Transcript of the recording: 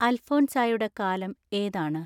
അൽഫോൻസായുടെ കാലം ഏതാണ്